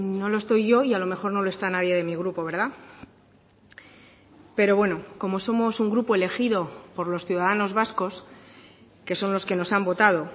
no lo estoy yo y a lo mejor no lo está nadie de mi grupo verdad pero bueno como somos un grupo elegido por los ciudadanos vascos que son los que nos han votado